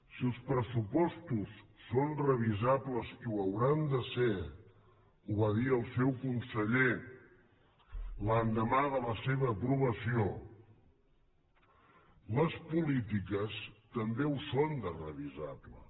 si els pressupostos són revisables i ho hauran de ser ho va dir el seu conseller l’endemà de la seva aprovació les polítiques també ho són de revisables